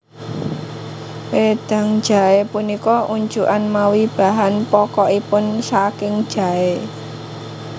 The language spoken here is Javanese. Wédang jaé punika unjukan mawi bahan pokokipun saking jaé